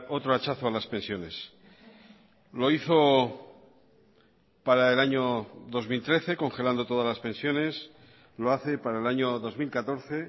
otro hachazo a las pensiones lo hizo para el año dos mil trece congelando todas las pensiones lo hace para el año dos mil catorce